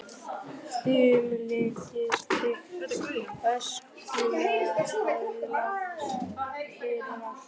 Þumlungsþykkt öskulag hafði lagst yfir allt.